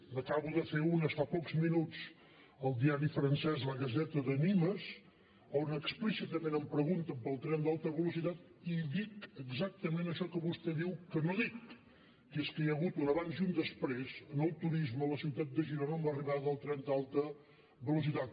n’acabo de fer unes fa pocs minuts al diari francès la gazette de nîmes on explícitament em pregunten pel tren d’alta velocitat i dic exactament això que vostè diu que no dic que és que hi ha hagut un abans i un després en el turisme a la ciutat de girona amb l’arribada del tren d’alta velocitat